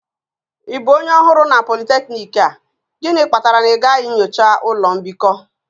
Ị bụ onye ọhụrụ na polytechnic a? Gịnị kpatara na ịgaghị nyocha ụlọ mbikọ?